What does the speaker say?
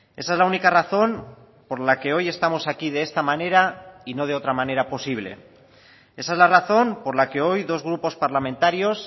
esa es la única razón por la que hoy estamos aquí de esta manera y no de otra manera posible esa es la razón por la que hoy dos grupos parlamentarios